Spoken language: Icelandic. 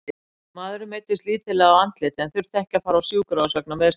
Maðurinn meiddist lítillega á andliti en þurfti ekki að fara á sjúkrahús vegna meiðslanna.